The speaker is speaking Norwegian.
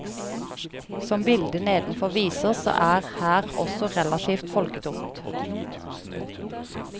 Som bildet nedenfor viser så er her også relativt folketomt.